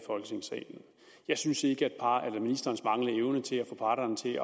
folketingssalen jeg synes ikke at ministerens manglende evne til at få parterne til at